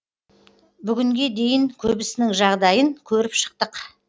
бүгінге дейін көбісінің жағдайын көріп шықтық